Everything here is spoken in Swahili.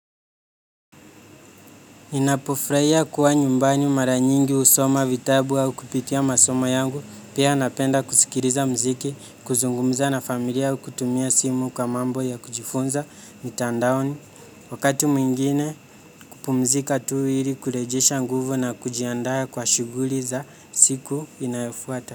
Ninapofraia kuwa nyumbani mara nyingi husoma vitabu au kupitia masomo yangu, pia napenda kusikiriza mziki, kuzungumza na familia au kutumia simu kwa mambo ya kujifunza mitandaoni. Wakati mwingine kupumzika tu ili kurejesha nguvu na kujiandaa kwa shughuri za siku inayofuata.